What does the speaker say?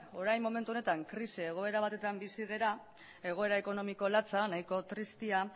orain momentu honetan krisi egoera batetan bizi gara egoera ekonomiko latza nahiko tristea